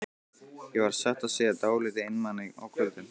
Ég var satt að segja dálítið einmana á kvöldin.